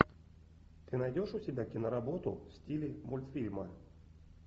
ты найдешь у себя киноработу в стиле мультфильма